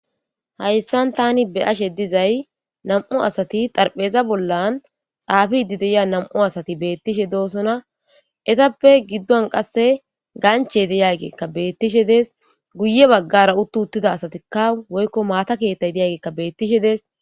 Haysan taani be'ashe dizay nam'u asati xarapheza bollan xaafidi diza nam'u asati beetishe doosona. Eetappe giddon qasse ganchey de'iyayka beetishe dees. Guye bagara uttida asati woyko maata keethayka beetishe dees.